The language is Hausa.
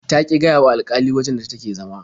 Ta ƙi gaya wa alƙalin wajen da take zama.